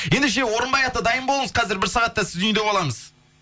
ендеше орынбай ата дайын болыңыз қазір бір сағатта сіздің үйде боламыз